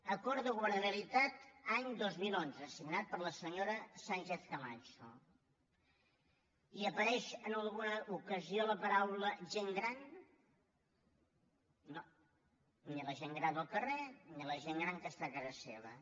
acord de governabilitat any dos mil onze signat per la senyora sánchez camacho hi apareix en alguna ocasió la paraula gent gran no ni la gent gran del carrer ni la gent gran que està a casa seva